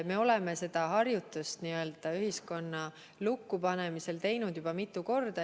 Me oleme seda n-ö harjutust ühiskonna lukkupanemisel teinud juba mitu korda.